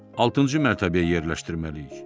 Altıncı mərtəbəyə yerləşdirməliyik.